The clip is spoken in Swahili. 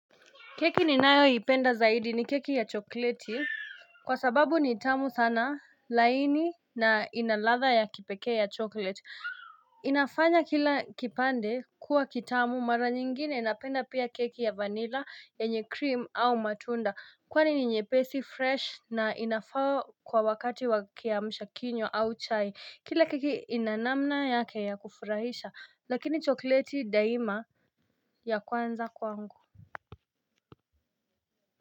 Keki ninayo ipenda zaidi ni keki ya chokleti Kwa sababu ni tamu sana laini na inaladha ya kipekee ya chokleti inafanya kila kipande kuwa kitamu mara nyingine napenda pia keki ya vanilla yenye cream au matunda Kwani ni nyepesi fresh na inafaa kwa wakati wa kiamshakinywa au chai kila keki inanamna yake ya kufurahisha lakini chokleti daima ya kwanza kwangu.